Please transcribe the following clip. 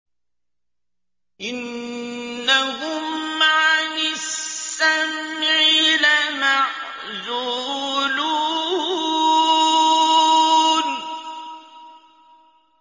إِنَّهُمْ عَنِ السَّمْعِ لَمَعْزُولُونَ